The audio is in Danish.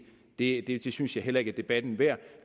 det det synes jeg heller ikke er debatten værd